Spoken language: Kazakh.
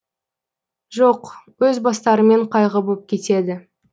жоқ өз бастарымен қайғы боп кетеді